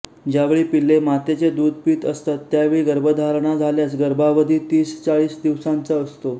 ज्यावेळी पिल्ले मातेचे दूध पीत असतात त्यावेळी गर्भधारणा झाल्यास गर्भावधी तीसचाळीस दिवसांचा होतो